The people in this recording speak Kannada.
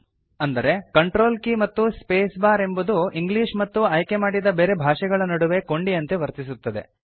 ಅಂದರೆ ಕಂಟ್ರೋಲ್ ಕೀ ಮತ್ತು ಸ್ಪೇಸ್ ಬಾರ್ ಎಂಬುದು ಇಂಗ್ಲಿಷ್ ಮತ್ತು ಆಯ್ಕೆ ಮಾಡಿದ ಬೇರೆ ಭಾಷೆಗಳ ನಡುವೆ ಕೊಂಡಿಯಂತೆ ವರ್ತಿಸುತ್ತದೆ